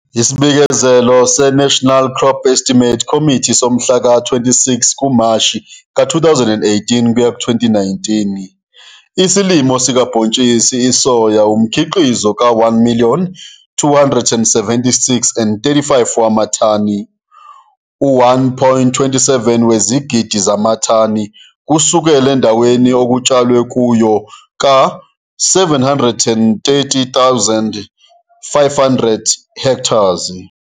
ISBIKEZELO SE-NATIONAL CROP ESTIMATES COMMITTEE SOMHLA KA-26 KUMASHI KA-2018 kuya ku-2019 ISILIMO SIKABHONTSHISI ISOYA UMKHIQIZO KA1,276,035 WAMATHANI U-1,27 WEZIGIDI ZAMATHANI, KUSUKELA ENDAWENI OKUTSHALWE KUYO KA-730,500 HA.